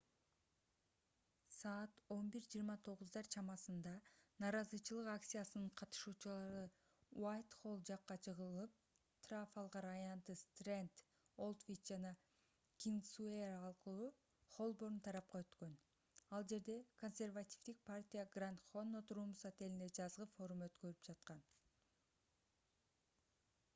саат 11:29 чамасында нааразычылык акциясынын катышуучулары уайтхолл жакка жылып трафалгар аянты стренд олдвич жана кингсуэй аркылуу холборн тарапка өткөн ал жерде консервативдик партия гранд коннот румс отелинде жазгы форум өткөрүп жаткан